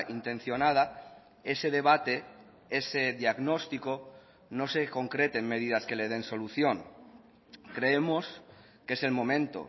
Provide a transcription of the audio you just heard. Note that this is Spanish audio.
intencionada ese debate ese diagnóstico no se concrete en medidas que le den solución creemos que es el momento